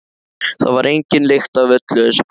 Það var engin lykt af öllu þessu kryddi.